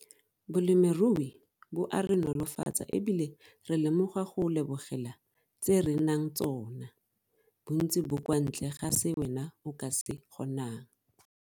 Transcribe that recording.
Bolemirui bo a re nolofatsa e bile re lemoga go lebogela tse re nang tsona bontsi bo kwa ntle ga se wena o ka se kgonang.